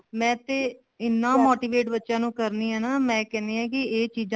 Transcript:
ਮੈਂ ਤੇ ਇੰਨਾ motivate ਬੱਚਿਆਂ ਨੂੰ ਕਰਨੀ ਹਾਂ ਨਾ ਮੈਂ ਕਹਿਣੀ ਹਾਂ ਇਹ ਚੀਜ਼ਾਂ